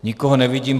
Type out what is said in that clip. Nikoho nevidím.